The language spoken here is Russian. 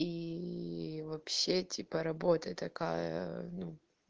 ии вообще типа работа такая ну